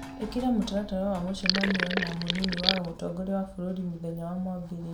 ĩkĩra mũtaratara wa mũcemanio na mũnini wa mũtongoria wa bũrũri mũthenya wa mwambĩrĩrio